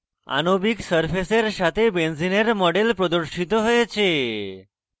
আণবিক সারফেসের সাথে benzene model প্রদর্শিত হয়েছে